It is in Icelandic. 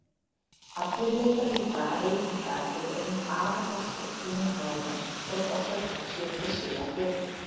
Allir vita líka að reykingar eru ein aðalorsök lungnakrabbameins þótt orsakirnar séu vissulega fleiri.